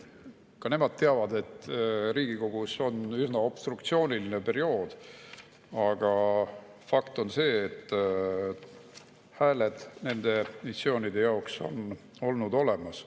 Ka nemad teavad, et Riigikogus on üsna obstruktsiooniline periood, aga fakt on see, et hääled nende missioonide jaoks on olnud olemas.